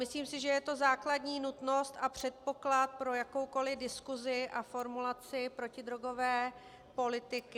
Myslím si, že je to základní nutnost a předpoklad pro jakoukoliv diskuzi a formulaci protidrogové politiky.